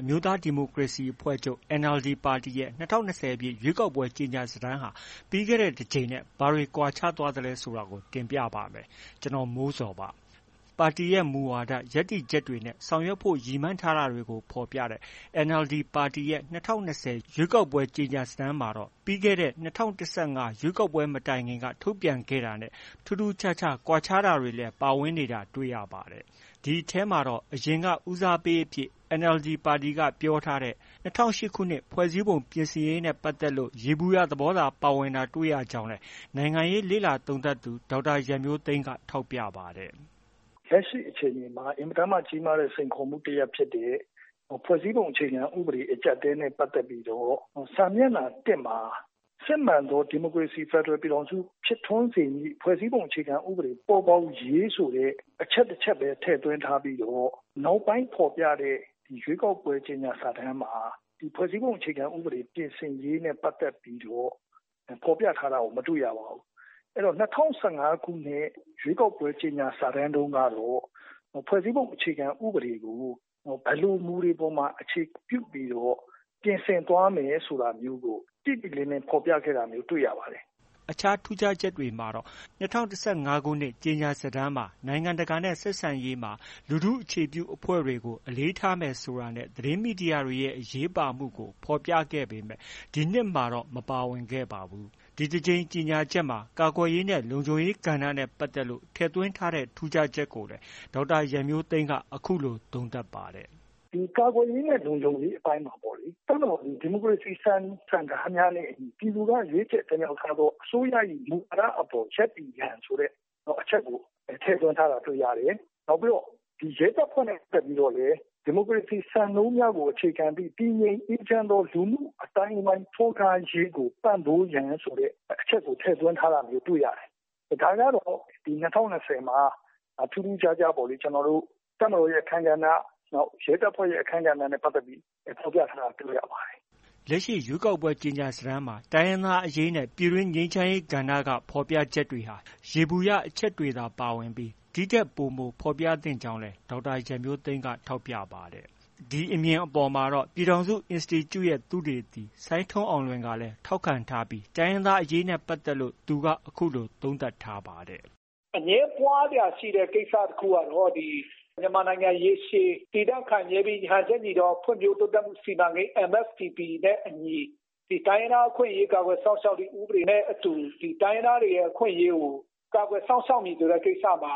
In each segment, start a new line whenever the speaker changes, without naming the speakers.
အမျိုးသားဒီမိုကရေစီအဖွဲ့ချုပ် NLD ပါတီရဲ့ ၂၀၂၀ ပြည့် ရွေးကောက်ပွဲ ကြေညာစာတမ်းဟာ ပြီးခဲ့တဲ့ တကြိမ်နဲ့ ဘာတွေကွာခြားသွားသလဲ ဆိုတာကို တင်ပြပါမယ်။ ဒီသတင်းကို ဗွီအိုအေမြန်မာပိုင်း သတင်းထောက် ကိုမိုးဇော်က တင်ဆက်ပေးမှာပါ။ ပါတီရဲ့ မူဝါဒရပ်တည်ချက်တွေနဲ့ ဆောင်ရွက်ဖို့ ရည်မှန်းထားတာတွေကို ဖော်ပြထားတဲ့ NLD ပါတီရဲ့ ၂၀၂၀ ရွေးကောက်ပွဲ ကြေညာစာတမ်းမှာတော့ ပြီးခဲ့တဲ့ ၂၀၁၅ ခုနှစ် ရွေးကောက်ပွဲမတိုင်ခင် ထုတ်ပြန်ခဲ့တာနဲ့ ထူးထူးခြားခြား ကွာခြားတာတွေလည်း ပါဝင်နေတာ တွေ့ရပါတယ်။ ဒီအထဲမှာတော့ အရင်က ဦးစားပေးအဖြစ် NLD ကပြောထားတဲ့ ၂၀၀၈ ခုနှစ် ဖွဲ့စည်းပုံပြင်ဆင်ရေးနဲ့ ပတ်သက်လို့ ယေဘုယျ သဘောသာ ပါဝင်တာ တွေ့ရကြောင်းလည် နိုင်ငံရေး လေ့လာသုံးသပ်သူ ဒေါက်တာရန်မျိုးသိမ်းက ထောက်ပြပါတယ်။
“ လက်ရှိအခြေအနေမှာ အင်မတန်မှ ကြီးမားတဲ့ စိန်ခေါ်မှုတစ်ရပ်ဖြစ်တဲ့ ဖွဲ့စည်းပုံအခြေခံဥပဒေ အကျပ်အတည်းနဲ့ ပတ်သက်ပြီးတော့ စာမျက်နှာ ၁မှာ စစ်မှန်သော ဒီမိုကရေစီ ဖက်ဒရယ် ပြည်ထောင်စု ဖြစ်ထွန်းစေမည့် ဖွဲ့စည်းပုံအခြေခံဥပဒေ ပေါ်ပေါက်ရေး ဆိုတဲ့ အချက်တစ်ချက်ပဲ ထည့်သွင်း ထားပြီးတော့ နောက်ပိုင်း ဖော်ပြတဲ့ ရွေးကောက်ပွဲ ကြေညာစာတမ်းမှာ ဖွဲ့စည်းပုံပြင်ဆင်ရေးနဲ့ ပတ်သက်ပြီးတော့ ဖော်ပြထားတာကို မတွေ့ရပါဘူး။ ၂၀၁၅ခုနှစ် ရွေးကောက်ပွဲကြေညာစာတမ်းတုန်း ကတော့ ဖွဲ့စည်းပုံအခြေခံဥပဒေကို ဘယ်လို အခြေခံမူတွေအပေါ်မှာ အခြေပြုပြီးတော့ ပြင်ဆင်သွားမယ်ဆိုတာမျိုး တိတိလင်းလင်းဖော်ပြခဲ့တာမျိုးတွ
ေ့ရပါတယ်။” အခြားထူးခြားချက်တွေအနေနဲ့ ၂၀၁၅ခုနှစ် ကြေညာစာတမ်းမှာ နိုင်ငံတကာနဲ့ ဆက်ဆံရေးမှာ လူထုအခြေပြုအဖွဲ့တွေကို အလေးထားမယ်ဆိုတာနဲ့ သတင်းမီဒီယာတွေရဲ့ အရေးပါမှုကို ဖော်ပြခဲ့ပေမဲ့ ဒီနှစ်မှာ မပါဝင်ခဲ့ပါဘူး။ ဒီတကြိမ်ကြေညာချက်မှာ ကာကွယ်ရေးနဲ့ လုံခြုံရေးကဏ္ဍနဲ့ ပတ်သက်လို့ ထည့်သွင်းထားတဲ့ ထူးခြားချက်ကိုလည်း ဒေါက်တာရန်မျိုးသိမ်းက အခုလို သုံးသပ်ပါတယ်။
“ ဒီကာကွယ်ရေးနဲ့ လုံခြုံရေးအပိုင်းမှာပေါ့လေ။ တပ်မတော်သည် ဒီမိုကရေစီ စံနှုန်းစံထားများနဲ့အညီ ပြည်သူက ရွေးချယ်တင်မြှောက်ထားသော အစိုးရ၏ မူဝါဒအပေါ် ရပ်တည်ရန် ဆိုတဲ့အချက်ကို ထည့်သွင်းထားတာ တွေ့ရတယ်။ နောက်ပြီးတော့ ရဲတပ်ဖွဲ့နဲ့ ပတ်သက်ပြီးတော့လည်း ဒီမိုကရေစီစံနှုန်းများကို အခြေခံသည့် တည်ငြိမ်အေးချမ်းသော လူမှု့အသိုင်းအဝိုင်းထွန်းကားရေးကို ပံ့ပိုးရန် အချက်ကို ထည့်သွင်းထားတာကို တွေ့ရတယ်။ ဒါကတော့ ၂၀၂၀မှာ ထူးထူးခြားခြားပေါ့လေ တပ်မတော်ရဲ့ အခန်းကဏ္ဍ၊ ရဲတပ်ဖွဲ့ရဲ့ အခန်းကဏ္ဍနဲ့ပတ်သက်ပြီး ဖော်ပြထားတာ
တွေ့ရပါတယ်။” လက်ရှိ ရွေးကောက်ပွဲ ကြေညာစာတမ်းမှာ တိုင်းရင်းသားအရေးနဲ့ ပြည်တွင်းငြိမ်းချမ်းရေး ကဏ္ဍမှာ ဖော်ပြချက်တွေဟာ ယေဘုယျအချက်တွေသာပါဝင်ပြီး ဒီထက် ပိုမိုဖော်ပြသင့်ကြောင်းလည်း ဒေါက်တာရန်မျိုးသိမ်းက ထောက်ပြပါတယ်။ ဒီအမြင်အပေါ်မှာတော့ ပြည်ထောင်စု အင်စတီကျူ့ရဲ့သုတေသီ စိုင်းထွန်းအောင်လွင်ကလည်း ထောက်ခံထားပြီး တိုင်းရင်းသားအရေးနဲ့ပတ်သက်ပြီး အခုလို သုံးသပ်ထားပါတယ်။
“ အငြင်းပွားစရာရှိတဲ့ ကိစ္စကတော့ မြန်မာနိုင်ငံ ရေရှည်တည်တံခိုင်မြဲပြီး ဟန်ချက်ညီသော ဖွံ့ဖြိုးတိုးတက်မှု စီမံကိန်း MSDP နဲ့ တိုင်းရင်းသားအခွင့်အရေးကာကွယ်စောင့်ရှောက်သော ဥပဒေနဲ့အတူ တိုင်းရင်းသားတွေရဲ့ အခွင့်အရေးကို ကာကွယ်စောင့်ရှောက်မည်ဆိုတဲ့ ကိစ္စမှာ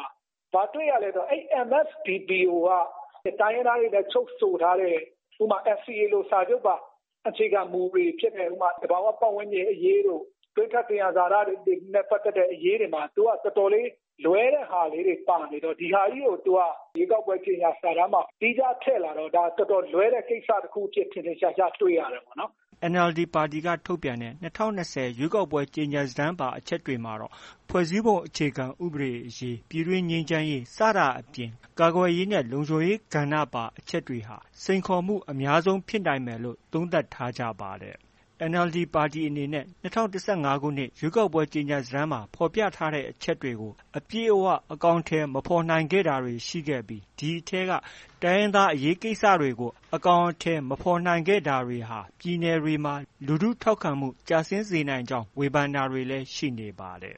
ဘာတွေ့ရလဲဆိုတော့ အဲဒီ MSDP ကိုက တိုင်းရင်းသားတွေနဲ့ ချုပ်ဆိုထားတဲ့ ဥပမာ NCA လိုစာချုပ်ပါ အခြေခံမူတွေဖြစ်တဲ့ သဘာ၀ ပတ်ဝန်းကျင်အရေးတို့ တွင်းထွက်သံယံဇာတတွေနဲ့ ပတ်သက်တဲ့အရေးတွေမှာ သူက တော်တော်လွဲတဲ့ဟာလေးတွေ ပါနေတော့ ဒီဟာကြီးကို သူက ရွေးကောက်ပွဲကြေညာစာတမ်းမှာ သီးခြားထည့်လာတော့ ဒါ တော်တော်လွဲတဲ့ ကိစ္စအဖြစ် ထင်ထင်ရှားရှားတွေ့ရတယ်ပေါ့နော်
။” NLD ပါတီက ထုတ်ပြန်တဲ့ ၂၀၂၀ ရွေးကောက်ပွဲကြေညာစာတမ်းပါ အချက်တွေမှာတော့ ဖွဲ့စည်းပုံအခြေခံဥပဒေအရေး၊ ပြည်တွင်းငြိမ်းချမ်းရေး စတာအပြင် ကာကွယ်ရေးနဲ့ လုံခြုံရေးကဏ္ဍပါ အချက်တွေဟာ စိန်ခေါ်မှု အများဆုံးဖြစ်နိုင်မယ်လို့ သုံးသပ်ထားကြပါတယ်။ NLD ပါတီအနေနဲ့ ၂၀၁၅ ရွေးကောက်ပွဲကြေညာစာတမ်းမှာ ဖော်ပြထားတဲ့အချက်တွေကို အပြည့်အ၀ အကောင်အထည်မဖော်နိုင်ခဲ့တာတွေ ရှိခဲ့ပြီး အဲဒီအထဲက တိုင်းရင်းသားအရေးကိစ္စရပ်တွေကို အကောင်အထည်မဖော်နိုင်ခဲ့တာတွေဟာ ပြည်နယ်တွေမှာ လူထုထောက်ခံမှုကျဆင်းစေနိုင်ကြောင်း ဝေဖန်တာတွေလည်း ရှိနေပါတယ်